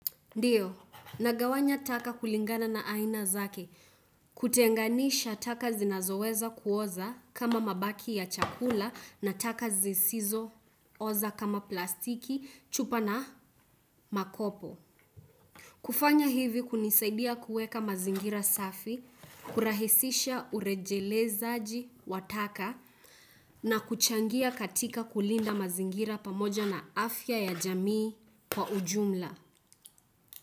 Ndiyo, nagawanya taka kulingana na aina zake, kutenganisha taka zinazoweza kuoza kama mabaki ya chakula na taka zisizo oza kama plastiki chupa na makopo. Kufanya hivi kunisaidia kuweka mazingira safi, kurahisisha urejelezaji wa taka na kuchangia katika kulinda mazingira pamoja na afya ya jamii kwa ujumla.